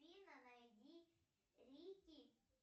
афина найди рики